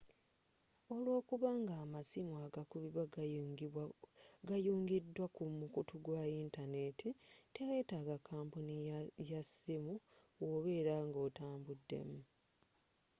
olwokuba nga amasimu agakubibwa gayungiddwa ku mukutu gwa yintaneti tewetaga kampuni y'amasiimu wobeera oba nga otambuddemu